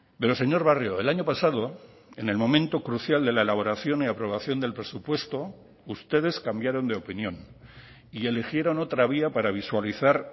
pero señor barrio el año pasado en el momento crucial de la elaboración y aprobación del presupuesto ustedes cambiaron de opinión y eligieron otra vía para visualizar